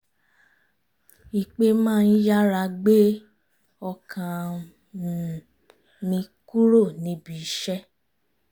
ìpè má ń yára gbé ọkàm um mi kúrò níbi iṣẹ́